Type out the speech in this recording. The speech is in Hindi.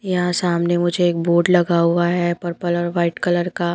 यहाँ सामने मुझे एक बोर्ड लगा हुआ है पर्पल और वाइट कलर का --